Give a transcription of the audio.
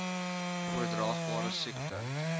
oordraagbare siekte